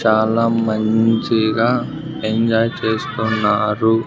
చాలా మంచిగా ఎంజాయ్ చేస్తున్నారు.